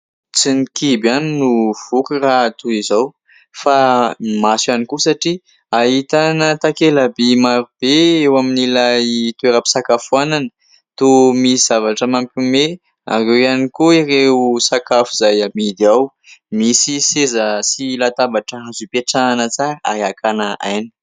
Tsy ny kibo ihany no voky raha toy izao ! Fa ny maso ihany koa satria ahitana takela-by marobe eo amin'ilay toeram-pisakafoanana. Toa misy zavatra mampiomehy ary eo ihany koa ireo sakafo izay amidy ao misy seza sy latabatra azo ipetrahana tsara ary hakana aina.